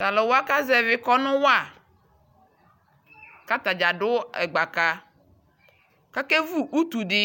Talu wa kazɛvi kɔnu wa ka ata dza do ɛgbaka ka kevu utu de